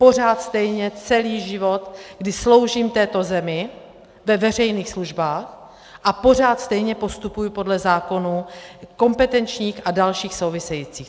Pořád stejně celý život, kdy sloužím této zemi ve veřejných službách a pořád stejně postupuji podle zákonů kompetenčních a dalších souvisejících.